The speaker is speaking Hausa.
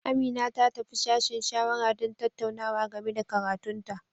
Amina ta tafi sashen shawara don tattaunawa game da karatun ta.